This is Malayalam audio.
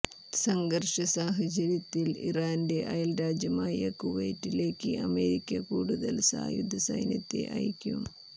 സംഘർഷ സാഹചര്യത്തിൽ ഇറാന്റെ അയൽ രാജ്യമായ കുവൈത്തിലേക്ക് അമേരിക്ക കൂടുതൽ സായുധ സൈന്യത്തെ അയക്കും